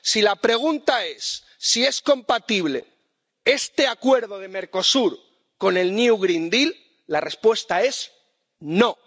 Si la pregunta es si es compatible este Acuerdo de Mercosur con el new green deal la respuesta es no.